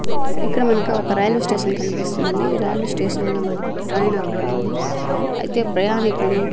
ఇక్కడ మనకి ఒక రైల్వే స్టేషన్ కనిపిస్తుందండి ఈ రైల్వే స్టేషన్ లో మనకు ట్రైన్ అక్కడుంది అయితే ప్రయాణికులు--